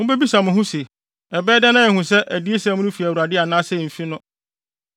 Mubebisa mo ho se, “Ɛbɛyɛ dɛn na yɛahu sɛ adiyisɛm no fi Awurade anaasɛ emfi no?”